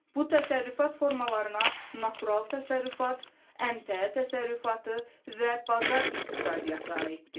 Bu təsərrüfat formalarına natural təsərrüfat, əmtəə təsərrüfatı və bazar iqtisadiyyatı aiddir.